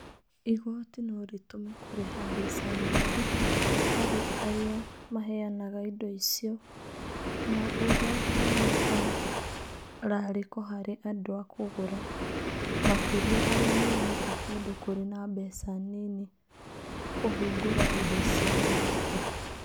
Igooti no rĩtũme kũrĩha mbeca nyingĩ harĩ arĩa arĩa maheanaga indo icio na ũrehe mũtararĩko harĩ andũ a kũgũra, makĩria arĩa moimĩte kũndũ kũrĩ na mbeca nini kũhingũra indo cia digito.